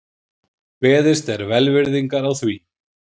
Beðist er velvirðingar á því